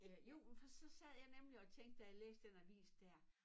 Øh jo for sad jeg nemlig og tænkte da jeg læste den avis dér